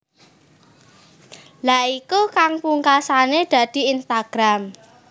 Lha iku kang pungkasane dadi Instagram